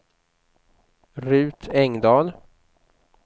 Ruth Engdahl